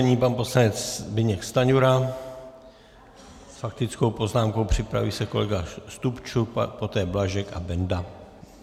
Nyní pan poslanec Zbyněk Stanjura s faktickou poznámkou, připraví se kolega Stupčuk, poté Blažek a Benda.